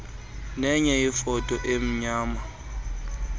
nenye ifoto emnyama